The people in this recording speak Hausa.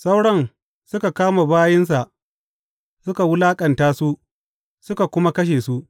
Sauran suka kama bayinsa suka wulaƙanta su, suka kuma kashe su.